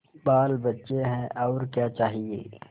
बालबच्चे हैं और क्या चाहिए